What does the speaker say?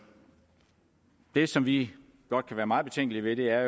vil og som vi godt kan være meget betænkelige ved er